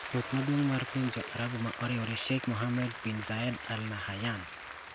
Ruoth maduong' mar piny joArabu ma oriwre Sheikh Mohammed Bin Zayed al Nahyan